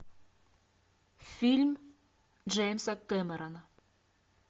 фильм джеймса кэмерона